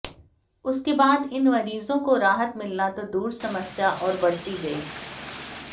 उसके बाद इन मरीजों को राहत मिलना तो दूर समस्या और बढ़ती गई